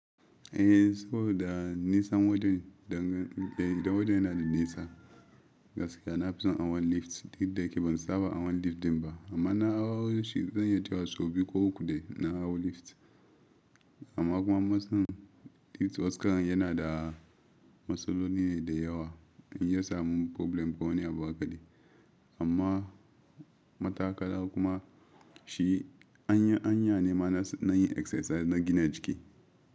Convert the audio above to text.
Eh saboda nesan wajan dangane da wajan yana da nesa, gaskiya nafi son awon lift duk da ke ban saba awon lift din ba amma na awo shi zanyi tayawa sau biyu ko uku da na hau lift amma kuma masun lift waskan yana da masolo ne da yawa in yasa mu problem ko wani abu haka dai amma matakala kuma shi anya anya ne mana nayi exercise na gina jiki.